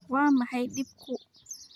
waa maxay dhibku?